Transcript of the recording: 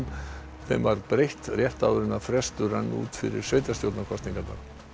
sem breytt rétt áður en frestur rann út fyrir sveitarstjórnarkosningarnar